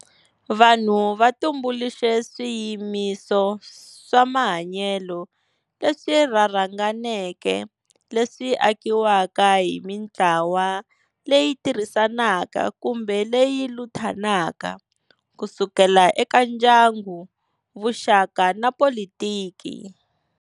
Vanhu va tumbuluxe swiyimiso swa mahanyele leswi rharhanganeke leswi akiwaka hi mintlawa leyi tirhisanaka kumbe leyi luthanaka, kusukela eka ndyangu, vuxaka na politiki.